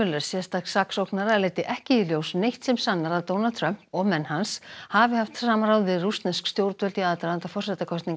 sérstaks saksóknara leiddi ekki í ljós neitt sem sannar að Donald Trump og menn hans hafi haft samráð við rússnesk stjórnvöld í aðdraganda forsetakosninganna